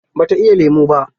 Ba ta iya lemu ba.